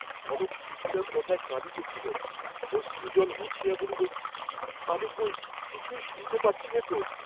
কনক সুশীলার কথায় কাঁদিতেছিল, অশ্রুজল মুছিয়া বলিল আমি কই কিছুই শুনতে পাচ্ছিনে ত?